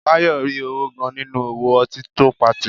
Báyọ̀ rí owó gan-an nínú òwò ọtí tó patì